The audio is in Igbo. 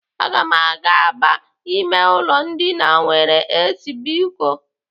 Aga m aga aba ime ụlọ ndina nwere AC biko.